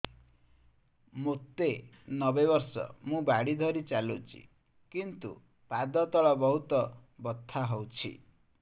ମୋତେ ନବେ ବର୍ଷ ମୁ ବାଡ଼ି ଧରି ଚାଲୁଚି କିନ୍ତୁ ପାଦ ତଳ ବହୁତ ବଥା ହଉଛି